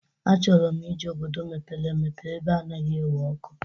Achọrọ m ije obodo mepere emepe ebe anaghị ewe ọkụ.